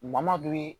Mamadu